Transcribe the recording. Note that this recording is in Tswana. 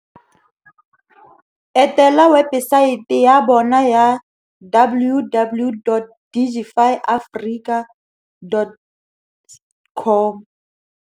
Etela webesaete ya bona ya www.digifyafrica.com